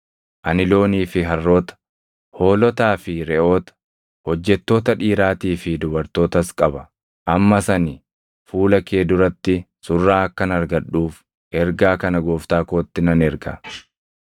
Ani loonii fi harroota, hoolotaa fi reʼoota, hojjettoota dhiiraatii fi dubartootas qaba. Ammas ani fuula kee duratti surraa akkan argadhuuf ergaa kana gooftaa kootti nan erga.’ ”